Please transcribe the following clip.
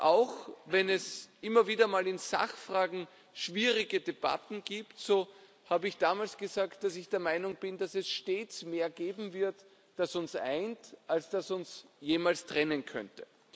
Auch wenn es immer wieder mal in Sachfragen schwierige Debatten gibt, so habe ich damals gesagt, dass ich der Meinung bin, dass es stets mehr geben wird, das uns eint, als das uns jemals trennen könnte.